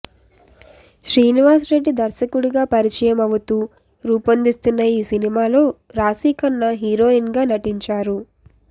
శ్రీనివాస్ రెడ్డి దర్శకుడిగా పరిచయమవుతూ రూపొందిస్తోన్న ఈ సినిమాలో రాశిఖన్నా హీరోయిన్గా నటించారు